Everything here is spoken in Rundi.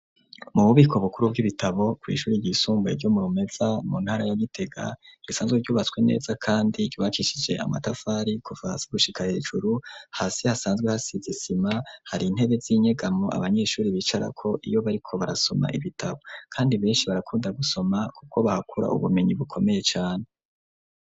Mu bubiko bukuru bw'ibitabo ku ishuri ryisumbuye ryo murumeza mu ntara ya gitega gisanzwe ryubatswe neza kandi gibakishije amatavari kuvasa gushika hejuru hasi hasanzwe hasigisima hari intebe z'inyegamo abanyeshuri bicara ko iyo bariko barasoma ibitabo, kandi benshi barakunda gusoma kuko bahakura ubumenyi bukomeye cane.